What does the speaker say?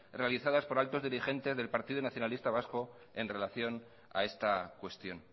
realizadas por altos diligentes del partido nacionalista vasco en relación a esta cuestión